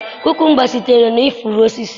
Kukumba sitere na ifuru osisi.